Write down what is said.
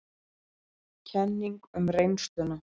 Kenning um reynsluna